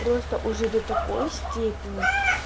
просто уже до такой степени